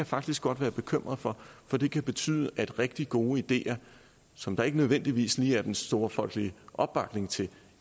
faktisk godt være bekymret for for det kan betyde at rigtig gode ideer som der ikke nødvendigvis lige er den store folkelige opbakning til